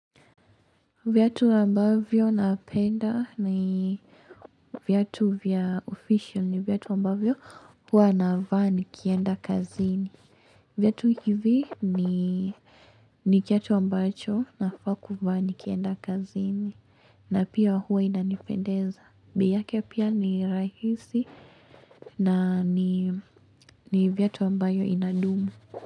Viatu ambavyo napenda ni viatu vya official ni viatu ambavyo hua navaa nikienda kazini. Viatu hivi ni kiatu ambacho nafaa kuvaa nikienda kazini. Na pia hua inanipendeza. Bei yake pia ni rahisi na ni viatu ambayo inadumu.